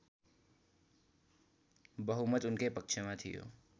बहुमत उनकै पक्षमा थियो